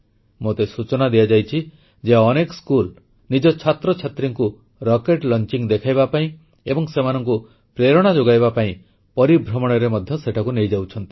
ମୋତେ ସୂଚନା ଦିଆଯାଇଛି ଯେ ଅନେକ ସ୍କୁଲ ନିଜ ଛାତ୍ରଛାତ୍ରୀଙ୍କୁ ରକେଟ୍ ଲଂଚିଙ୍ଗ୍ ଦେଖାଇବା ପାଇଁ ଏବଂ ସେମାନଙ୍କୁ ପ୍ରେରଣା ଯୋଗାଇବା ପାଇଁ ପରିଭ୍ରମଣରେ ମଧ୍ୟ ସେଠାକୁ ନେଇଯାଉଛନ୍ତି